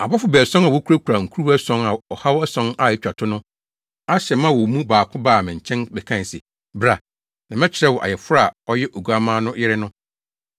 Abɔfo baason a wokurakura nkuruwa ason a ɔhaw ason a etwa to no ahyɛ ma wɔ mu baako baa me nkyɛn bɛkae se, “Bra, na mɛkyerɛ wo Ayeforo a ɔyɛ Oguamma no yere no.”